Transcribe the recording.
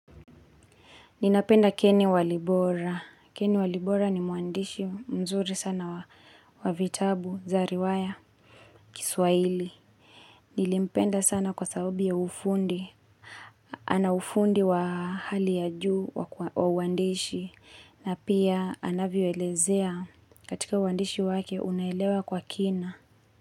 Ninapenda Ken Walibora. Keni Walibora ni mwandishi mzuri sana wa vitabu za riwaya, Kiswaili. Nilimpenda sana kwa sababi ya ufundi. Ana ufundi wa hali ya juu wa uandishi. Na pia anavyo elezea katika uandishi wake unaelewa kwa kina.